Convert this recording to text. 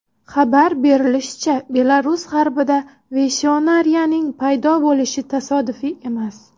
Xabar berilishicha, Belarus g‘arbida Veyshnoriyaning paydo bo‘lishi tasodifiy emas.